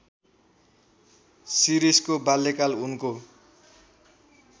शिरीषको बाल्यकाल उनको